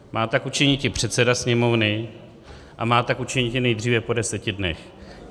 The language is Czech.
Má tak učiniti předseda Sněmovny a má tak učiniti nejdříve po deseti dnech.